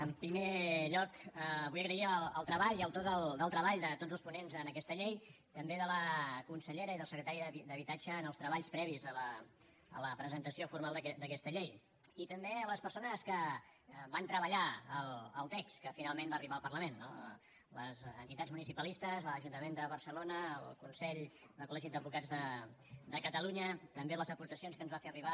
en primer lloc vull agrair el treball i el to del treball de tots els ponents en aquesta llei també de la consellera i del secretari d’habitatge en els treballs previs a la presentació formal d’aquesta llei i també a les persones que van treballar el text que finalment va arribar al parlament no les entitats municipalistes l’ajuntament de barcelona el consell de col·legis d’advocats de catalunya també les aportacions que ens va fer arribar